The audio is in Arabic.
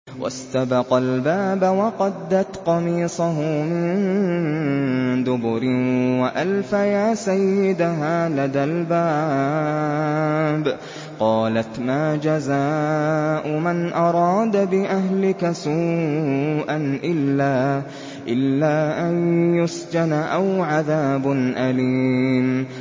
وَاسْتَبَقَا الْبَابَ وَقَدَّتْ قَمِيصَهُ مِن دُبُرٍ وَأَلْفَيَا سَيِّدَهَا لَدَى الْبَابِ ۚ قَالَتْ مَا جَزَاءُ مَنْ أَرَادَ بِأَهْلِكَ سُوءًا إِلَّا أَن يُسْجَنَ أَوْ عَذَابٌ أَلِيمٌ